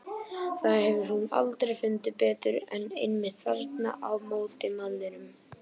Það hefur hún aldrei fundið betur en einmitt þarna á móti manninum.